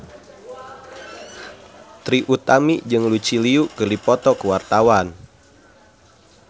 Trie Utami jeung Lucy Liu keur dipoto ku wartawan